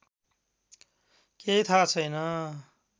केही थाहा छैन